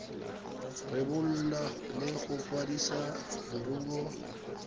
rebola le go kwadisa leruo